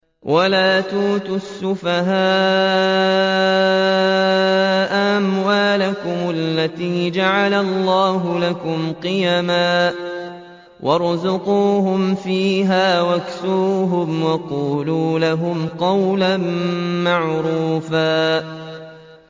وَلَا تُؤْتُوا السُّفَهَاءَ أَمْوَالَكُمُ الَّتِي جَعَلَ اللَّهُ لَكُمْ قِيَامًا وَارْزُقُوهُمْ فِيهَا وَاكْسُوهُمْ وَقُولُوا لَهُمْ قَوْلًا مَّعْرُوفًا